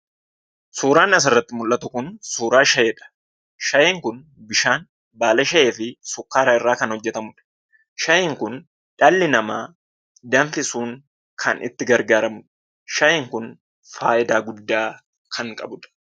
Suuraan asirratti mul'atu kun, suuraa shaayiidha. Shaayiin Kun bishaan, baala shaayii fi sukkaara irraa kan hojjetamudha. Shaayiin Kun dhalli namaa danfisuun kan itti gargaaramudha. Shaayiin Kun fayidaa guddaa kan qabudha.